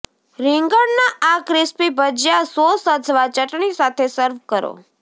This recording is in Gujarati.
રીંગણના આ ક્રિસ્પી ભજીયા સોસ અથવા ચટણી સાથે સર્વ કરો